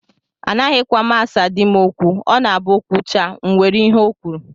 Anaghịkwa m asa di m okwu. Ọ na-abụ O kwuchaa, m were ihe ọ kwuru